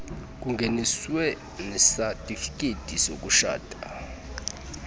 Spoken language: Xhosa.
kungeniswe nesatifiketi sokutshata